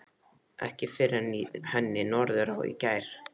Ekki fyrr en í henni Norðurá í gær.